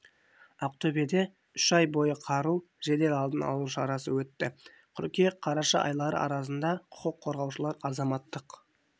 ақтөбеде үш ай бойы қару жедел алдын алу шарасы өтті қыркүйек-қараша айлары аралығында құқық қорғаушылар азаматтық